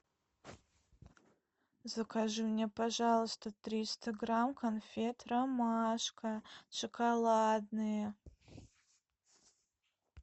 закажи мне пожалуйста триста грамм конфет ромашка шоколадные